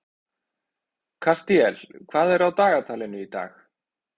Kastíel, hvað er á dagatalinu í dag?